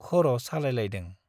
खर' सालायलायदों ।